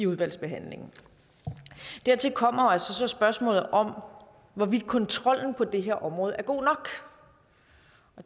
udvalgsbehandlingen dertil kommer altså spørgsmålet om hvorvidt kontrollen på det her område er god nok